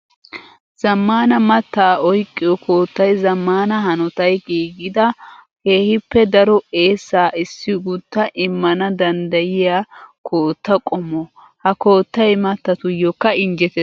Zamaana mattaa oyqqiyo koottay zamaana hanotay giigidda keehippe daro eessa issi gutta immana danddayiya kootta qommo. Ha koottay mattatuyokka injjetees.